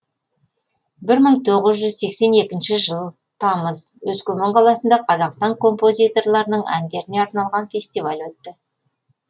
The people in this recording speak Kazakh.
бір мың тоғыз жүз сексен екінші жылы тамыз өскемен қаласында қазақстан композиторларының әндеріне арналған фестиваль өтті